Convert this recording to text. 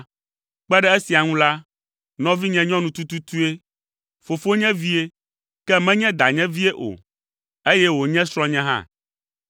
Kpe ɖe esia ŋu la, nɔvinye nyɔnu tututue, fofonye vie, ke menye danye vie o, eye wònye srɔ̃nye hã.